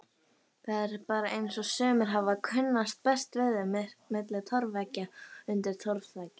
Það er bara eins og sumir hafi kunnað best við sig milli torfveggja undir torfþaki.